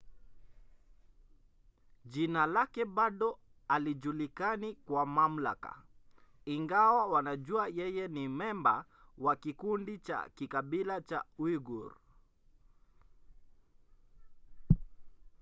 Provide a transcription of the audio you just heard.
jina lake bado halijulikani kwa mamlaka ingawa wanajua yeye ni memba wa kikundi cha kikabila cha uighur